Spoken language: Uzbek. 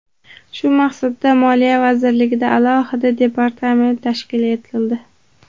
Shu maqsadda Moliya vazirligida alohida departament tashkil etildi.